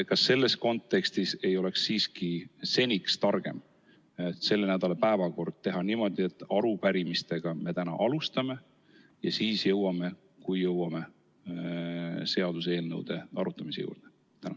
Kas selles kontekstis ei oleks siiski targem selle nädala päevakord teha niimoodi, et me alustame täna arupärimistega ja siis jõuame, kui jõuame, seaduseelnõude arutamiseni?